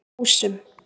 Ásum